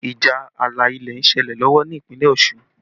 Ìjà ààlà ilẹ̀ ń ṣẹlẹ̀ lọ́wọ́ ní Ìpínlẹ̀ Ọ̀ṣun